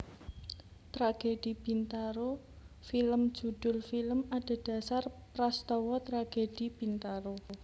Tragedi Bintaro film judhul film adhedhasar prastawa Tragedi Bintaro